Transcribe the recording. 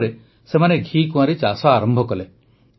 ଏହାପରେ ସେମାନେ ଘିକୁଆଁରୀ ଚାଷ ଆରମ୍ଭ କଲେ